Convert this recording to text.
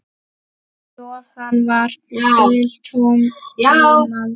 Stofan var galtómt gímald.